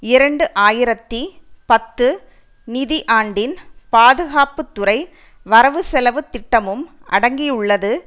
இரண்டு ஆயிரத்தி பத்து நிதி ஆண்டின் பாதுகாப்பு துறை வரவுசெலவு திட்டமும் அடங்கியுள்ளது